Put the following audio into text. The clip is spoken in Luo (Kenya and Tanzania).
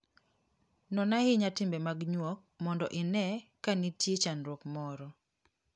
Non ahinya timbe mag nyuok mondo ine ka nitie chandruok moro.